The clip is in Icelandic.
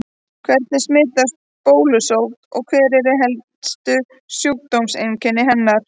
Hvernig smitast bólusótt og hver eru helstu sjúkdómseinkenni hennar?